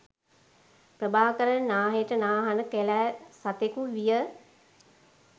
ප්‍රභාකරන් නාහෙට නාහන කැළෑ සතෙකු විය.